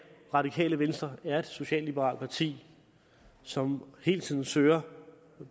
radikale venstre er et socialliberalt parti som hele tiden søger